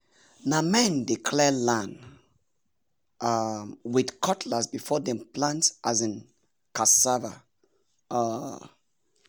na men dey clear land um with cutlass before dem plant um cassava. um